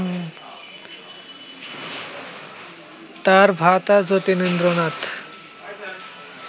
তাঁর ভ্রাতা জ্যোতিরিন্দ্রনাথ